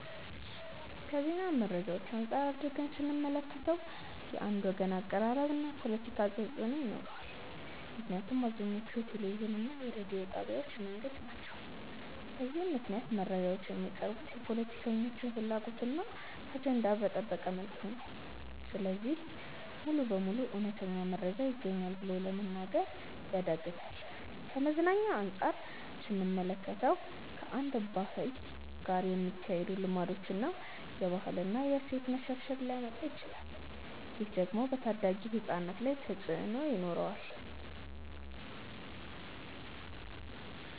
ከዜና መረጃዎች አንፃር አድርገን ስንመለከተው። የአንድ ወገን አቀራረብ እና ፖለቲካ ተፅእኖ ይኖረዋል ምክንያቱም አብዛኞቹ የቴሌቪዥን እና የሬዲዮ ጣቢያዎች የመንግስት ናቸው። በዚህም ምክንያት መረጃዎች የሚቀርቡት የፖለቲከኞችን ፍላጎት እና አጀንዳ በጠበቀ መልኩ ነው። ስለዚህ ሙሉ በሙሉ እውነተኛ መረጃ ይገኛል ብሎ ለመናገር ያዳግታል። ከመዝናኛ አንፃር ስንመለከተው። ከአንድን ባህል ጋር የማይሄዱ ልማዶችን እና የባህል እና የእሴት መሸርሸር ሊያመጣ ይችላል። ይህ ደግሞ በታዳጊ ህፃናት ላይ ተፅእኖ ይኖረዋል።